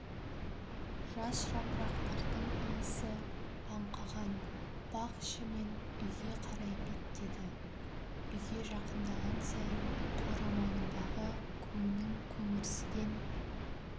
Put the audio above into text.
жас жапырақтардың иісі аңқыған бақ ішімен үйге қарай беттеді үйге жақындаған сайын қора маңындағы көңнің көңірсіген